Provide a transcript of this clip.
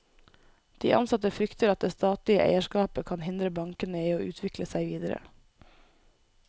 De ansatte frykter at det statlige eierskapet kan hindre bankene i å utvikle seg videre.